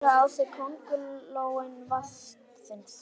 Fljótlega fór að bera á kólnun vatnsins.